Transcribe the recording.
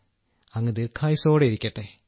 അങ്ങ് ദീർഘായുസ്സോടെയിരിക്കട്ടെ